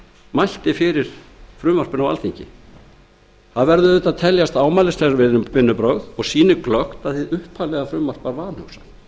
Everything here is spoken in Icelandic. mælti fyrir frumvarpinu á alþingi það verða að teljast ámælisverð vinnubrögð og sýnir glöggt að hið upphaflega frumvarp var vanhugsað þar er boðað